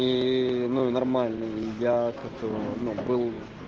ну и нормально я как ну был